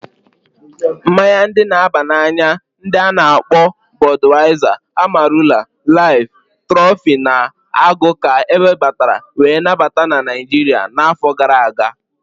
Mmaya ndi na aba na anya ndi a-na akpo Bodwaiza, Amarula, Life, Trophy, na Agụ ka ewebatara wee nabata na Naijiria na afọ gara aga.